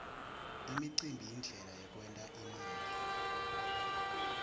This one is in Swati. umcimbi yindlela yekwent imali